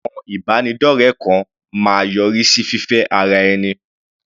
Àwọn ìbánidọ́rẹ kan máa yọrí sí fífẹ́ ara ẹni.